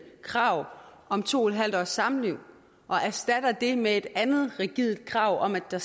krav om to en halv års samliv og erstatter det med et andet rigidt krav om at der